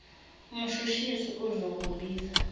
umshush isi uzokubiza